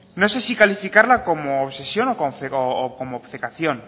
no sé si calificarla como obsesión o como obcecación